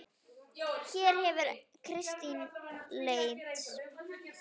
Hér hefur Kristín leit.